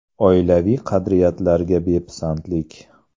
Oilaviy qadriyatlarga bepisandlik.